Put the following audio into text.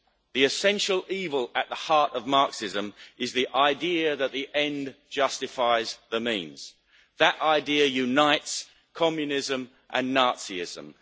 The essential evil at the heart of Marxism is the idea that the end justifies the means. That idea unites Communism and Nazism.